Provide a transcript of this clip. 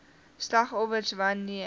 slagoffers wan neer